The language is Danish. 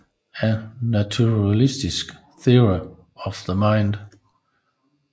A Naturalistic Theory of the Mind